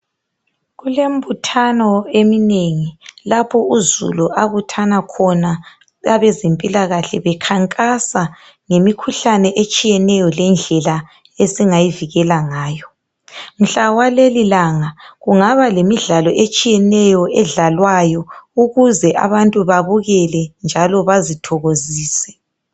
Kulembuthano eminengi lapho uzulu abuthana khona abezempilakahle bekhankasa ngemikhuhlane etshiyeneyo lendlela esingayivikela ngayo. Mhla waleli langa kungaba lemidlalo etshiyeneyo edlalwayo ukuze abantu babukele njalo bazithokozise.